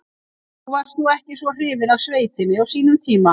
Þú varst nú ekki svo hrifinn af sveitinni á sínum tíma.